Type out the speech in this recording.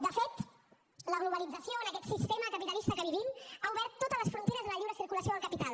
de fet la globalització en aquest sistema capitalista que vivim ha obert totes les fronteres de la lliure circulació del capital